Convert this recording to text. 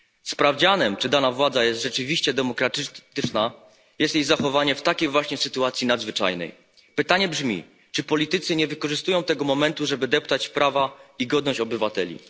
Sprawdzianem, czy dana władza jest rzeczywiście demokratyczna, jest jej zachowanie w takiej właśnie sytuacji nadzwyczajnej. Pytanie brzmi czy politycy nie wykorzystują tego momentu, żeby deptać prawa i godność obywateli?